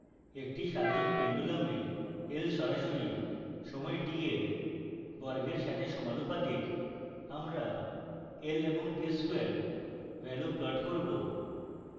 একটি সাধারণ pendulum l সরাসরি সময় t for বর্গের সাথে সমাণুপাতিক